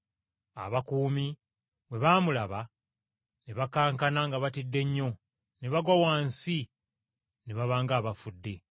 Abakuumi bwe baamulaba, ne bakankana nga batidde nnyo ne bagwa wansi ne baba ng’abafudde.